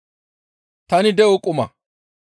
Tani de7o quma.